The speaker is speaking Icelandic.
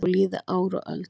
Þó líði ár og öld.